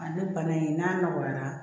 Ale bana in n'a nɔgɔyara